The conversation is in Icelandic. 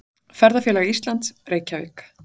Ferðafélag Íslands, Reykjavík.